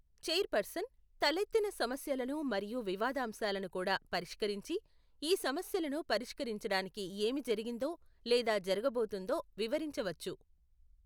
Chairperson తలెత్తిన సమస్యలను మరియు వివాదాంశాలను కూడా పరిష్కరించి, ఈ సమస్యలను పరిష్కరించడానికి ఏమి జరిగిందో లేదా జరుగబోతోందో వివరించవచ్చు.